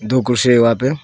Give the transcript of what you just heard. दो कुर्सी है वहाँ पे।